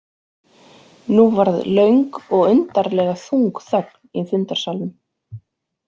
Nú varð löng og undarlega þung þögn í fundarsalnum.